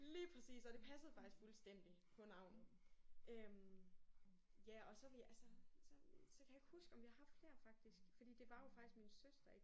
Lige præcis. Og det passede faktisk fuldstændig på navnet øh ja og så vi altså så så kan jeg ikke huske om vi har haft flere faktisk for det var jo faktisk min søster ikk